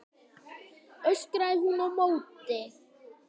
öskraði hún á móti.